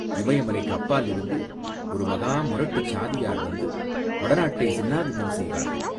இமயமலைக்கு அப்பாலிருந்து ஒரு மகா முரட்டுச் சாதியார் வந்து வடநாட்டை சின்னா பின்னம் செய்வார்கள்.